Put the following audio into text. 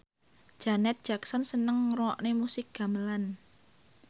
Janet Jackson seneng ngrungokne musik gamelan